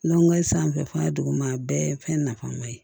sanfɛ fana duguma a bɛɛ ye fɛn nafama ye